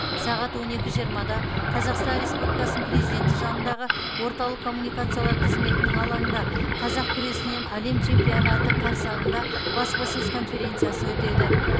сағат он екі жиырмада қазақстан республикасы президенті жанындағы орталық коммуникациялар қызметінің алаңында қазақ күресінен әлем чемпионаты қарсаңында баспасөз конференциясы өтеді